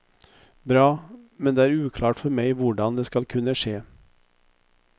Bra, men det er uklart for meg hvordan det skal kunne skje.